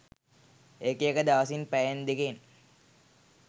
ඒක එක දවසින් පැයෙන් දෙකෙන්